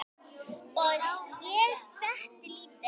Og ég setti lítið